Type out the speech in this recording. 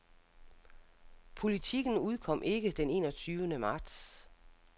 Politiken udkom ikke den en og tyvende marts.